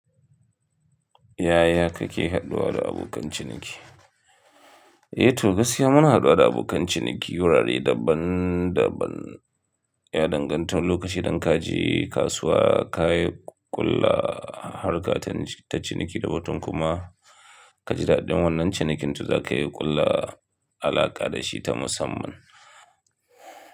Yaya kake haduwa da abokan ciniki? Eh to gaskiya muna haduwa da abokan ciniki wurare daban-daban. Ya danganta lokaci idan ka je kasuwa, ka yi ƙulla harkata ta ciniki da watan kuma ka ji daɗin wannan cinikin, to za ka yi ƙulla alaƙa da shi ta musamman.